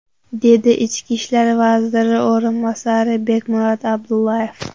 dedi ichki ishlar vaziri o‘rinbosari Bekmurod Abdullayev.